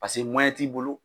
Paseke t'i bolo.